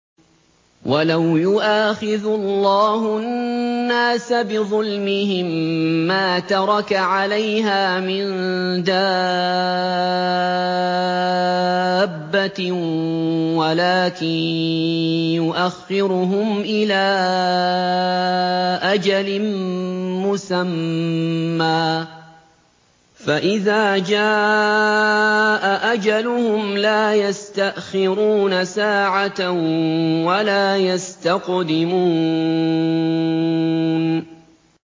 وَلَوْ يُؤَاخِذُ اللَّهُ النَّاسَ بِظُلْمِهِم مَّا تَرَكَ عَلَيْهَا مِن دَابَّةٍ وَلَٰكِن يُؤَخِّرُهُمْ إِلَىٰ أَجَلٍ مُّسَمًّى ۖ فَإِذَا جَاءَ أَجَلُهُمْ لَا يَسْتَأْخِرُونَ سَاعَةً ۖ وَلَا يَسْتَقْدِمُونَ